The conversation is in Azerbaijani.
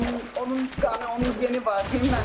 Onun qanı, onun geni var məndə.